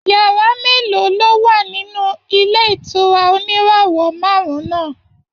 Yàrá mélòó ló wà nínú ilé ìtura oníràwọ̀ márùn-ún náà?